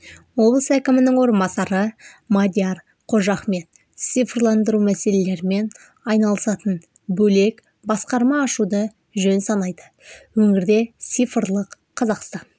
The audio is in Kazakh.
облыс әкімінің орынбасары мадияр қожахмет цифрландыру мәселелерімен айналысатын бөлек басқарма ашуды жөн санайды өңірде цифрлық қазақстан